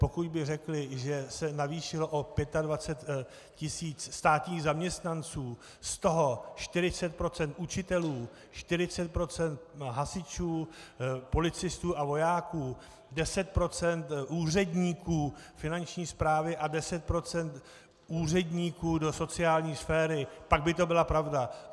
Pokud by řekli, že se navýšilo o 25 tisíc státních zaměstnanců, z toho 40 % učitelů, 40 % hasičů, policistů a vojáků, 10 % úředníků Finanční správy a 10 % úředníků do sociální sféry, pak by to byla pravda.